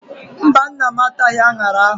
Mba, nna m ataghị aṅara ahụ.